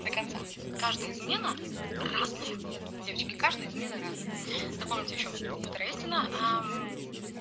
каждая измена разные девочки каждый из минеральных вод истина